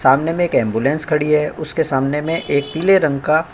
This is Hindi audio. सामने में एक एम्बुलेंस खड़ी है। उसके सामने में एक पीले रंग का --